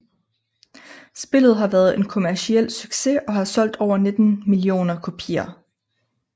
Spillet har været en kommerciel succes og har solgt over 19 millioner kopier